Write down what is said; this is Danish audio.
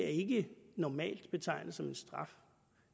ikke normalt som en straf